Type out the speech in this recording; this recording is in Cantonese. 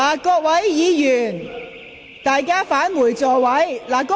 請議員返回座位。